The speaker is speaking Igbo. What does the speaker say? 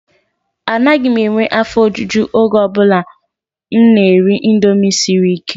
Anaghị m enwe afọ ojuju oge ọ bụla m na-eri indomie siri ike.